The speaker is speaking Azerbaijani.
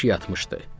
Sanki yatmışdı.